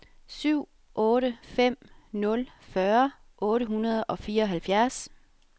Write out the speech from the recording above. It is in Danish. syv otte fem nul fyrre otte hundrede og fireoghalvfjerds